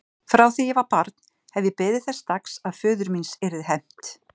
Frá því ég var barn hef ég beðið þess dags að föður míns yrði hefnt.